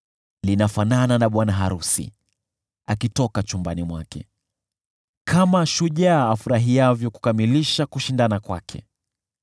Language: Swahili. linafanana na bwana arusi akitoka chumbani mwake, kama shujaa afurahiavyo kukamilisha kushindana kwake.